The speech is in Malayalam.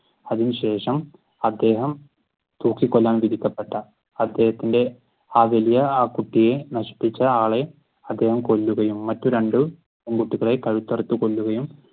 അതിനുശഷം അദ്ദേഹം തൂക്കികൊല്ലാൻ വിധിക്കപെട്ട അദ്ദേഹത്തിന്റെ ആ വലിയ ആ കുട്ടിയെ നശിപ്പിച്ച ആളെയും അദ്ദേഹം കൊല്ലുകയും മറ്റു രണ്ടു പെൺകുട്ടികളെ കഴുത്തറുത്തു കൊല്ലുകയും